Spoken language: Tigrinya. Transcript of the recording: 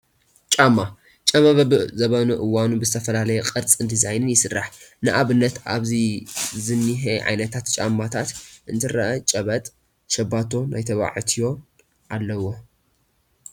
ጫማ፡- ጫማ በቢ ዘበኑን እዋኑን ብዝተፈላለየ ቅርፅን ዲዛይንን ይስራሕ፡፡ ንኣብነት ኣብዚ ዝኒሀ ዓይነታት ጫማታት እንትረአ ጨበጥ ፣ ሸባቶ ናይ ተባዕትዮን ኣለውዎ፡፡